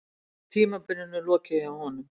Tímabilinu lokið hjá honum